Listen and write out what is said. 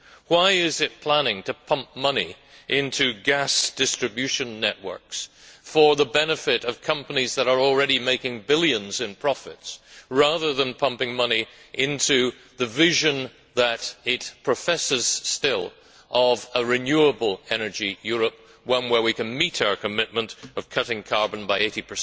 Why is it planning to pump money into gas distribution networks for the benefit of companies that are already making billions in profits, rather than pumping money into the vision that it still professes of a renewable energy Europe, one where we can meet our commitment of cutting carbon by 80